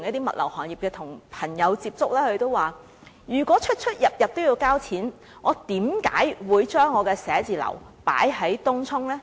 物流行業的朋友表示，如果每次出入也要付款，他們為何還會選擇把寫字樓設於東涌？